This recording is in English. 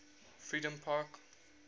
freedompark